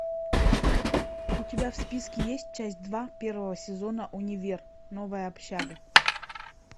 у тебя в списке есть часть два первого сезона универ новая общага